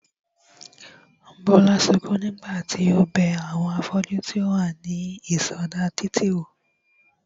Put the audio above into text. Bólú sukún nígbà tí ó bẹ àwọn afọ́jú tí ó wà ní ìsọdá títì wò